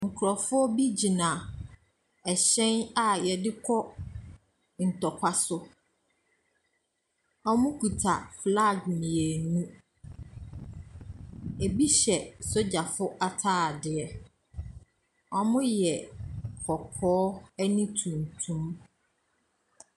Nkurɔfoɔ bi gyina hyɛn a wɔde kɔ ntɔkwa so. Wɔkuta flag mmienu. Ebi hyɛ sogyafo atadeɛ. Wɔyɛ kɔkɔɔ ne tuntum.